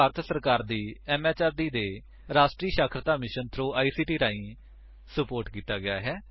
ਇਹ ਭਾਰਤ ਸਰਕਾਰ ਦੀ ਐਮਐਚਆਰਡੀ ਦੇ ਰਾਸ਼ਟਰੀ ਸਾਖਰਤਾ ਮਿਸ਼ਨ ਥ੍ਰੋ ਆਈਸੀਟੀ ਰਾਹੀਂ ਸੁਪੋਰਟ ਕੀਤਾ ਗਿਆ ਹੈ